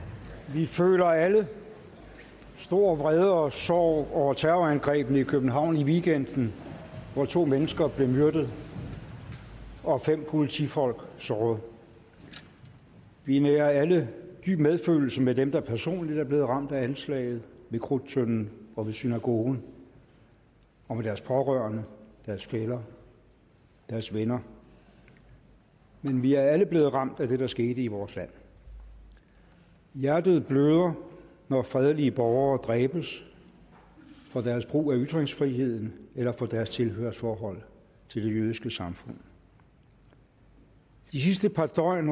vi føler alle stor vrede og sorg over terrorangrebene i københavn i weekenden hvor to mennesker blev myrdet og fem politifolk såret vi nærer alle dyb medfølelse med dem der personligt er blevet ramt af anslaget ved krudttønden og ved synagogen og med deres pårørende deres fæller deres venner men vi er alle blevet ramt af det der skete i vores land hjertet bløder når fredelige borgere dræbes for deres brug af ytringsfriheden eller for deres tilhørsforhold til det jødiske samfund de sidste par døgn